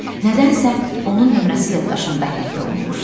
Nədənsə onun nömrəsi yaddaşımda həkk olunmuşdu.